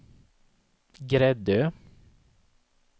Gräddö